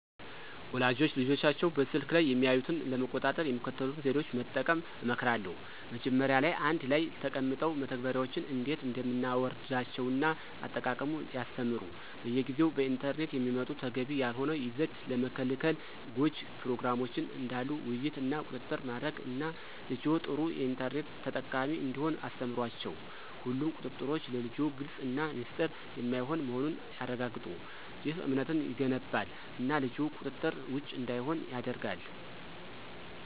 ወላጆች ልጆቻቸው በስልክ ላይ የሚያዩትን ለመቆጣጠር የሚከተሉትን ዘዴዎች መጠቀም እመክራለሁ። መጀመሪያ ላይ አንድ ላይ ተቀምጠው መተግበሪያዎችን እንዴት እንደምናወርዳቸውን እና አጠቃቀሙን ያስተምሩ። በየጊዜው በኢንተርኔት የሚመጡ ተገቢ ያልሆነ ይዘት ለመከልከል ጎጅ ፕሮግራሞችን ዳሉ ውይይት እና ቁጥጥር ማድረግ እና ልጅዎ ጥሩ የኢንተርኔት ተጠቃሚ እንዲሆን አስተምሯቸው። ሁሉም ቁጥጥሮች ለልጅዎ ግልፅ እና ሚስጥር የማይሆን መሆኑን ያረጋግጡ። ይህ እምነትን ይገነባል እና ልጅዎ ቁጥጥር ውጭ እንዳይሆን ያደርጋል።